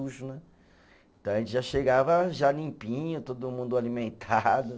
né, então, a gente já chegava já limpinho, todo mundo alimentado.